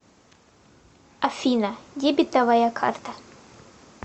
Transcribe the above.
афина дебетовая карта